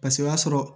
Paseke o y'a sɔrɔ